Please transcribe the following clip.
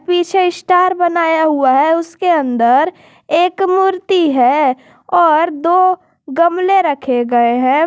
पीछे स्टार बनाया हुआ है उसके अंदर एक मूर्ति है और दो गमले रखे गए हैं।